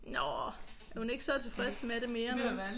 Nåh er hun ikke så tilfreds med det mere nu?